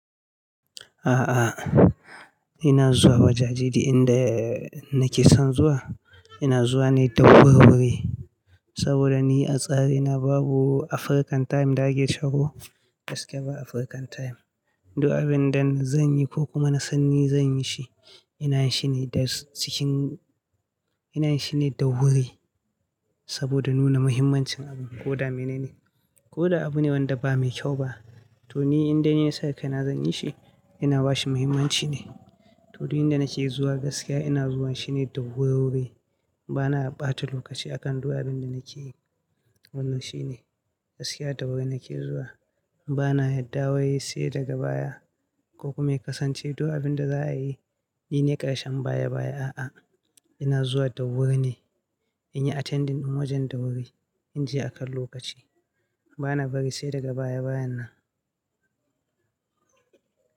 A'a, ina zuwa wajajeji inda nake son zuwa. Ina zuwa ne da wurwuri saboda ni a tsari na babu African time da ake sharo, gaskiya ba African time. Du abin da zan yi ko kuma na sanni zan yi shi, ina shi ne da wuri saboda nuna muhimmancin ko da menene, ko da abune wanda ba mai kyau ba to ni indai ni nasa kai na zan yi shi, ina bashi muhimmanci ne. To, inda na ke zuwa gaskiya ina zuwa shi ne da wurwuri. Ba na ɓata lokaci a kan du abin da nake yi. Wannan shi ne, gaskiya da wurin ke zuwa ba na yarda wai sai daga baya ko kuma ya kasance duk abin da za a yi, nine ƙarshen baya baya. A'a, ina zuwa da wuri ne, in yi attending wajen da wuri, in je akan lokaci. Ba na bari sai daga baya bayan nan.